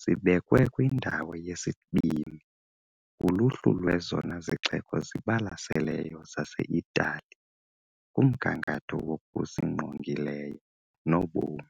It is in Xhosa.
sibekwe kwindawo yesibini kuluhlu lwezona zixeko zibalaseleyo zaseItali kumgangatho wokusingqongileyo nobomi.